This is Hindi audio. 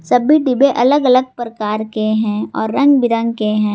सभी डिब्बे अलग अलग प्रकार के हैं और रंग बिरंग के हैं।